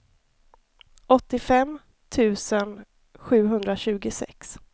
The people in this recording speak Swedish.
åttiofem tusen sjuhundratjugosex